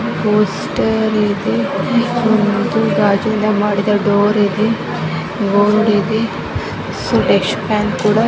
poster ಇದೆ ಒಂದು ಗಾಜಿನಿಂದ ಮಾಡಿದ ಡೋರ್ ಇದೆ ರೋಡ್ ಇದೆ ಕೂಡಾ--